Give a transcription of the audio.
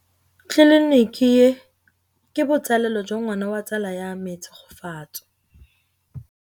Tleliniki e, ke botsalêlô jwa ngwana wa tsala ya me Tshegofatso.